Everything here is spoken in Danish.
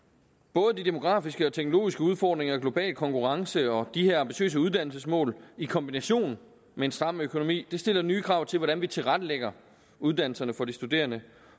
både de demografiske og teknologiske udfordringer og global konkurrence og de her ambitiøse uddannelsesmål i kombination med en stram økonomi stiller nye krav til hvordan vi tilrettelægger uddannelserne for de studerende